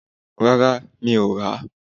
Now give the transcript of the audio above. Rárá, mi ò rà.